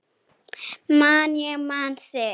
Man ég man þig